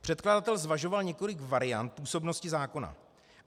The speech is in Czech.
Předkladatel zvažoval několik variant působnosti zákona.